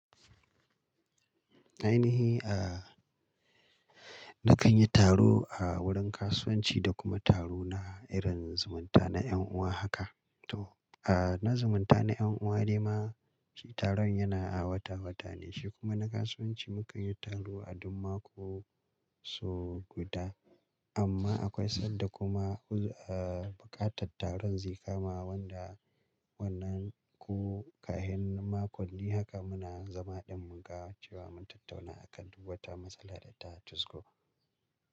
Na yi ni a, na kan yi taro a wurin kasuwanci da kuma taro na irin zumunta na ƴan uwa haka. To a, na zumunta na ƴan uwa dai ma taron yana a wata-wata ne, shi kuma na kasuwanci mu kan yi taro a duk mako sau guda. Amma akwai sanda kuma a, buƙatar taron zai kama wanda wannan ko karshen makon, ni haka muna zama ɗin mun ga cewa mun tattauna akan duk wata matsala da ta cisko.